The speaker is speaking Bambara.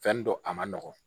Fɛn dɔ a ma nɔgɔn